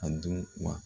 A dun wa